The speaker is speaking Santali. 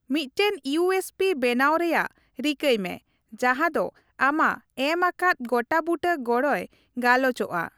ᱢᱤᱫᱴᱟᱝ ᱤᱭᱩᱹᱮᱥᱹᱯᱤ ᱵᱮᱱᱟᱣ ᱨᱮᱭᱟᱜ ᱨᱤᱠᱟᱹᱭ ᱢᱮ ᱡᱟᱦᱟᱸ ᱫᱚ ᱟᱢᱟᱜ ᱮᱢ ᱟᱠᱟᱫ ᱜᱚᱴᱟ ᱵᱩᱴᱟᱹ ᱜᱚᱲᱚᱭ ᱜᱟᱞᱚᱪᱚᱜᱼᱟ ᱾